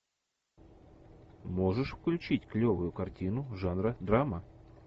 можешь включить клевую картину жанра драма